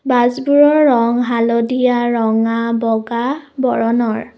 বাছবোৰৰ ৰং হালধীয়া ৰঙা ব'গা বৰণৰ।